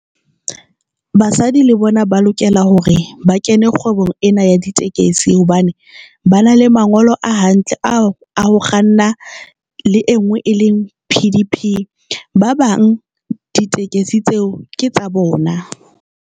Basadi le bona ba lokela hore ba kene kgwebong ena ya ditekesi hobane ba na le mangolo a hantle, ao a ho kganna le e nngwe e leng P_D_P. Ba bang ditekesi tseo ke tsa bona.